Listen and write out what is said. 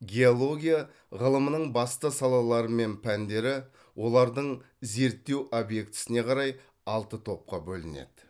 геология ғылымының басты салалары мен пәндері олардың зерттеу объектісіне қарай алты топқа бөлінеді